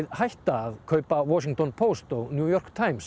hætta að kaupa New York Times